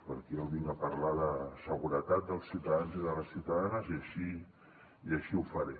perquè jo vinc a parlar de la seguretat dels ciutadans i de les ciutadanes i així ho faré